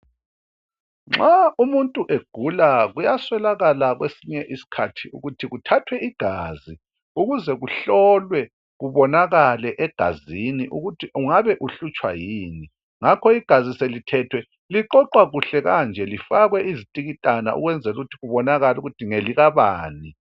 Nxa umuntu egula kuyaswelakala kwesinye isikhathi ukuthi kuthathwe igazi, ukuze kuhlolwe kubonakale egazini ukuthi ungabe uhlutshwa yini? Ngakho igazi selithethwe liqoqwa kuhle kanje lifakwe izitikitana ukwenzela ukuthi kubonakale ukuthi ngelikabani.